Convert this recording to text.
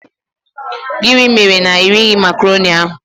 Gịnị mere na irighi macroni ahụ?